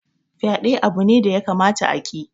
Fyaɗe abu ne da ya kamata a ki